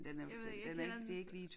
Jeg ved ikke jeg kender den så